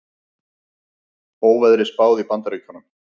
Óveðri spáð í Bandaríkjunum